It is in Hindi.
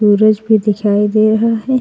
सूरज भी दिखाई दे रहा है।